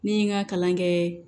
Ne ye n ka kalan kɛ